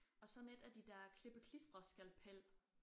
Og sådan et af de der klippe klistre skalpel